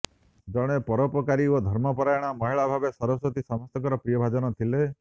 ଜଣେ ପରୋପକାରୀ ଓ ଧର୍ମପରାୟଣ ମହିଳା ଭାବେ ସରସ୍ୱତୀ ସମସ୍ତଙ୍କର ପ୍ରିୟଭାଜନ ଥିଲେ